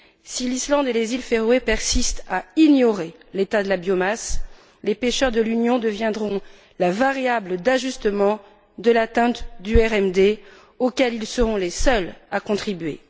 Si l'Islande et les Îles Féroé persistent à ignorer l'état de la biomasse, les pêcheurs de l'Union deviendront la variable d'ajustement de l'atteinte du RMD auquel ils seront les seuls à contribuer.